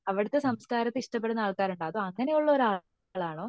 അവിടത്തെ സംസ്കാരത്തെ ഇഷ്ടപെടുന്ന ആൾ ഇണ്ടാവും അതോ അങ്ങനെ ഉള്ള ആളാണോ